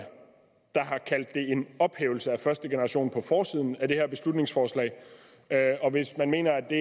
ophævelse af første generation på forsiden af det her beslutningsforslag hvis man mener at det